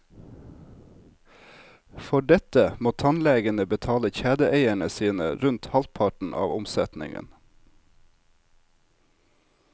For dette må tannlegene betale kjedeeierne sine rundt halvparten av omsetningen.